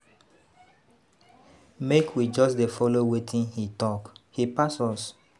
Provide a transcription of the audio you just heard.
Make we just dey follow wetin he talk. He pass us.